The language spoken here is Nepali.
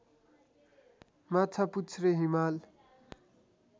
माछापुच्छ्रे हिमाल